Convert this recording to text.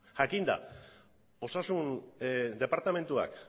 jakinda osasun departamentuak